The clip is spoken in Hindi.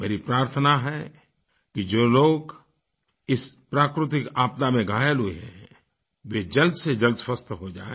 मेरी प्रार्थना है कि जो लोग इस प्राकृतिक आपदा में घायल हुए हैं वे जल्द से जल्द स्वस्थ जो जाएँ